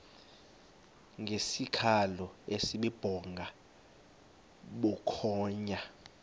ngesikhalo esibubhonga bukhonya